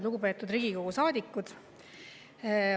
Lugupeetud Riigikogu saadikud!